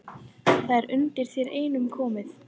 Það er undir þér einum komið